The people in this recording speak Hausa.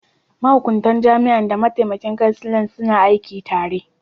Mahukuntar jami'an da mataimakin kansila suna aiki tare.